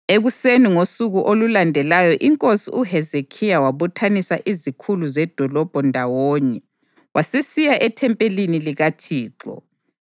Ekuseni ngosuku olulandelayo inkosi uHezekhiya wabuthanisa izikhulu zedolobho ndawonye wasesiya ethempelini likaThixo.